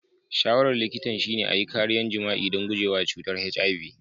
Shawarar likitan shine a yi kariya jima'i don guje wa cutar HIV.